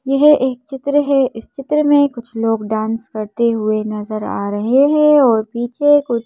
यह एक चित्र है इस चित्र में कुछ लोग डांस करते हुए नजर आ रहे हैं और पीछे कुछ --